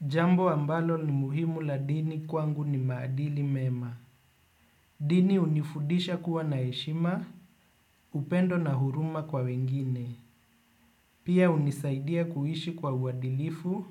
Jambo ambalo ni muhimu la dini kwangu ni maadili mema. Dini hunifundisha kuwa na heshima, upendo na huruma kwa wengine. Pia hunisaidia kuishi kwa uadilifu